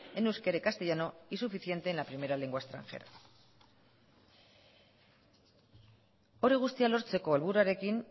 en euskera y castellano y suficiente en la primera lengua extranjera hori guztia lortzeko helburuarekin